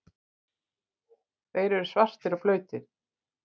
Þeir eru svartir og blautir.